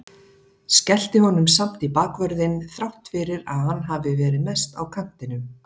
Skellti honum samt í bakvörðinn þrátt fyrir að hann hafi verið mest á kantinum.